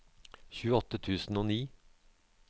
tjueåtte tusen og ni